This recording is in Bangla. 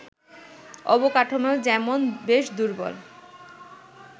অবকাঠামো যেমন বেশ দুর্বল